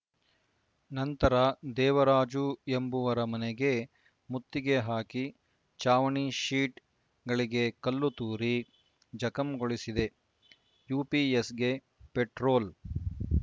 ನಂತರ ದೇವರಾಜು ಎಂಬುವರ ಮನೆಗೆ ಮುತ್ತಿಗೆ ಹಾಕಿ ಚಾವಣಿ ಶೀಟ್‌ ಗಳಿಗೆ ಕಲ್ಲು ತೂರಿ ಜಖಂಗೊಳಿಸಿದೆ ಯುಪಿಎಸ್‌ಗೆ ಪೆಟ್ರೋಲ